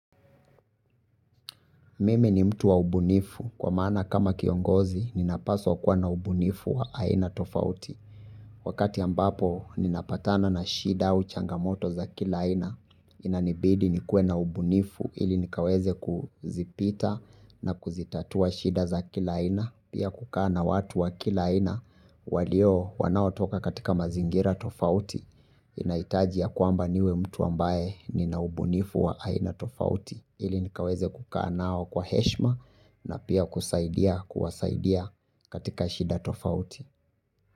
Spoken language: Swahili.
Mimi ni mtu wa ubunifu kwa maana kama kiongozi ninapaswa kuwa na ubunifu wa aina tofauti. Wakati ambapo ninapatana na shida u changamoto za kila aina inanibidi nikuwe na ubunifu ili nikaweze kuzipita na kuzitatua shida za kila aina. Pia kukaa na watu wa kila aina walio wanao toka katika mazingira tofauti inahitaji ya kwamba niwe mtu ambaye nina ubunifu wa aina tofauti. Ili nikaweze kuka nao kwa heshima na pia kusaidia kuwasaidia katika shida tofauti.